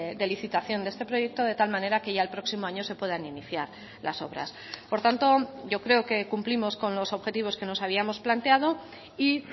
de licitación de este proyecto de tal manera que ya el próximo año se puedan iniciar las obras por tanto yo creo que cumplimos con los objetivos que nos habíamos planteado y